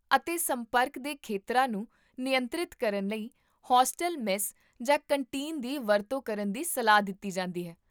ਅਤੇ ਸੰਪਰਕ ਦੇ ਖੇਤਰਾਂ ਨੂੰ ਨਿਯੰਤਰਿਤ ਕਰਨ ਲਈ ਹੋਸਟਲ ਮੈਸ ਜਾਂ ਕੰਟੀਨ ਦੀ ਵਰਤੋਂ ਕਰਨ ਦੀ ਸਲਾਹ ਦਿੱਤੀ ਜਾਂਦੀ ਹੈ